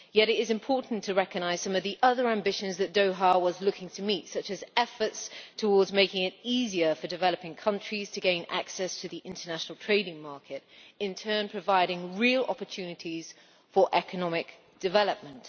Yet it is important to recognise some of the other ambitions that Doha was looking to meet, such as efforts towards making it easier for developing countries to gain access to the international trading market, in turn providing real opportunities for economic development.